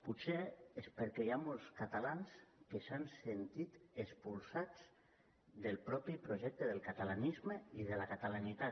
potser és perquè hi ha molts catalans que s’han sentit expulsats del mateix projecte del catalanisme i de la catalanitat